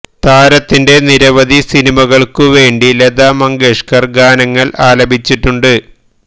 താരത്തിന്റെ നിരവധി സിനിമകൾക്കു വേണ്ടി ലത മങ്കേഷ്കർ ഗാനങ്ങൾ ആലപിച്ചിട്ടിട്ടുണ്ട്